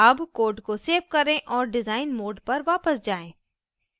अब code को save करें और डिजाइन mode पर वापस जाएँ